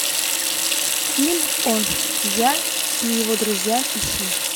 фильм он я и его друзья ищи